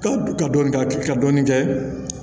Ka ka dɔɔnin kɛ ka dɔɔnin kɛ